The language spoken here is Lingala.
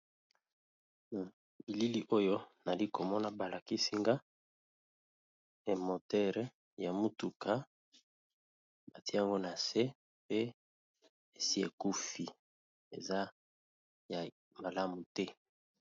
Na bilili oyo nayali komona ba lakisi nga emoteure ya motuka ba tia yango na se pe esi ekufi eza ya malamu te.